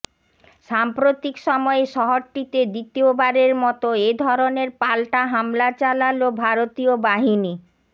সাম্প্রতিক সময়ে শহরটিতে দ্বিতীয়বারের মতো এ ধরনের পাল্টা হামলা চালাল ভারতীয় বাহিনী